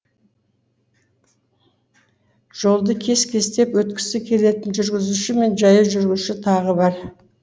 жолды кес кестеп өткісі келетін жүргізуші мен жаяу жүруші тағы бар